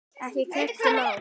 Eða keypti bíl.